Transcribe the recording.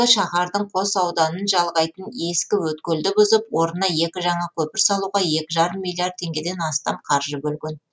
шаһардың қос ауданын жалғайтын ескі өткелді бұзып орнына екі жаңа көпір салуға екі жарым миллиард теңгеден астам қаржы бөлген